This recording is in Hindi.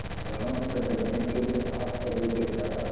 रामचंद्र ने कुछ आश्चर्य के साथ